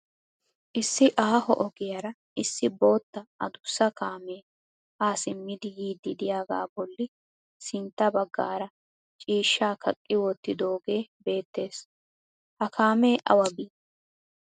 Issi aaho ogiyaara issi bootta adussa kaamee ha simmidi yiiddi diyagaa bolli sintta baggaara ciishsha kaqqi wottidooge beettes. Ha kaamee awa bii?